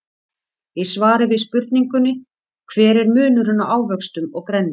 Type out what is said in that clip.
Í svari við spurningunni Hver er munurinn á ávöxtum og grænmeti?